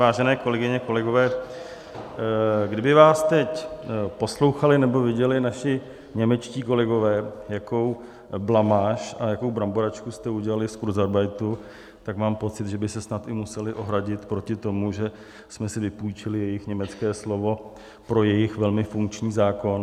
Vážené kolegyně, kolegové, kdyby vás teď poslouchali nebo viděli naši němečtí kolegové, jakou blamáž a jakou bramboračku jste udělali z kurzarbeitu, tak mám pocit, že by se snad i museli ohradit proti tomu, že jsme si vypůjčili jejich německé slovo pro jejich velmi funkční zákon.